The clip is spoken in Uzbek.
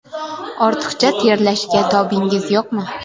Ortiqcha terlashga tobingiz yo‘qmi?